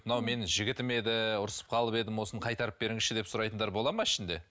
мынау менің жігітім еді ұрсысып қалып едім осыны қайтарып беріңізші деп сұрайтындар бола ма ішінде